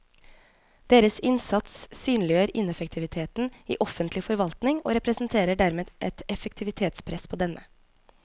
Deres innsats synliggjør ineffektiviteten i offentlig forvaltning og representerer dermed et effektivitetspress på denne.